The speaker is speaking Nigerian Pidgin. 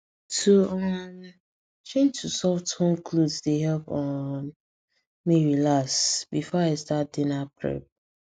to um change to soft home clothes dey help um me relax before i start dinner prep